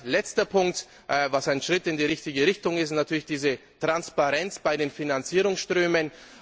Und als letzter Punkt, was ein Schritt in die richtige Richtung ist natürlich die Transparenz bei den Finanzierungsströmen.